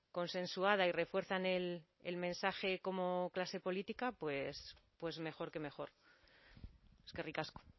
consensuada y refuerzan el mensaje como clase política pues mejor que mejor eskerrik asko